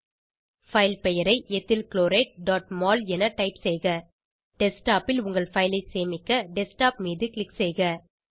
file பெயரை எத்தில் chlorideமோல் என டைப் செய்க டெஸ்க்டாப் ல் உங்கள் பைல் ஐ சேமிக்க டெஸ்க்டாப் மீது க்ளிக் செய்க